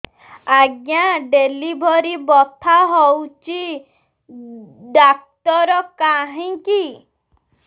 ଆଜ୍ଞା ଡେଲିଭରି ବଥା ହଉଚି ଡାକ୍ତର କାହିଁ କି